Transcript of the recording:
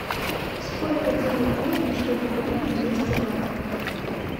сколько денег нужно чтобы купить двести батов